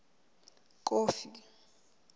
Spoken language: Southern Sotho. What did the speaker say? kofi